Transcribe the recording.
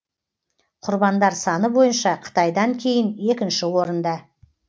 құрбандар саны бойынша қытайдан кейін екінші орында